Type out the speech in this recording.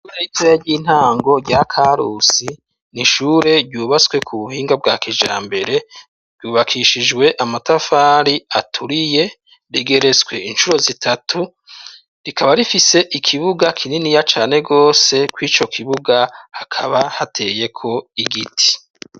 Ishure ritoya ry'intango rya Karusi nishure ryubatswe ku buhinga bwa kijambere ryubakishijwe amatafari aturiye regeretswe inshuro zitatu rikaba rifise ikibuga kininiya cane rwose kw'ico kibuga hakaba hateyeko igiti.